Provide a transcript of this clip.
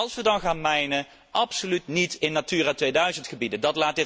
Als we dan gaan ontginnen, dan absoluut niet in Natura 2000 gebieden.